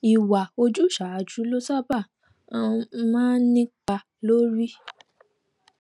ìwà ojúsàájú ló sábà um máa ń nípa lórí